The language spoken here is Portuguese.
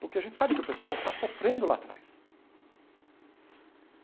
Porque a gente sabe que o pessoal está sofrendo lá atrás.